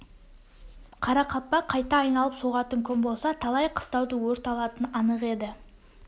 қарақалпақ қайта айналып соғатын күн болса талай қыстауды өрт алатыны анық еді